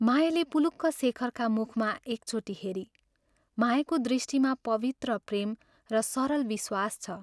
मायाले पुलुक शेखरका मुखमा एकचोटि हेरी मायाको दृष्टिमा पवित्र प्रेम र सरल विश्वास छ।